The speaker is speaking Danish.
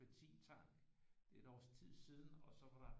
Benzintank det er et års tid siden og så var der